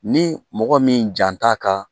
Ni mɔgɔ min jan t'a ka